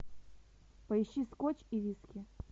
поищи скотч и виски